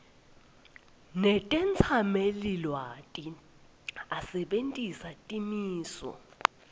netetsamelilwati asebentisa timiso